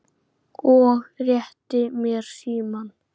og rétti mér símann.